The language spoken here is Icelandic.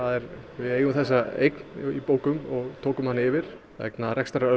við eigum þessa eign í bókum og tókum hana yfir vegna